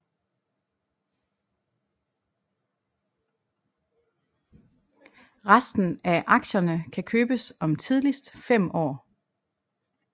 Resten af aktierne kan købes om tidligst 5 år